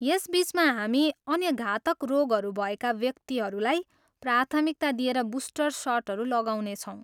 यस बिचमा हामी अन्य घातक रोगहरू भएका व्यक्तिहरूलाई प्राथमिकता दिएर बुस्टर सटहरू लगाउने छौँ।